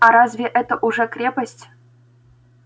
а разве это уже крепость